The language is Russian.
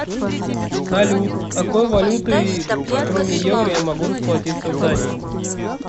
салют какой валютой кроме евро я могу расплатиться в дании